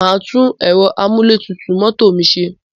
Màá tún ẹ̀rọ amúlétutù mọ́tò mi ṣe.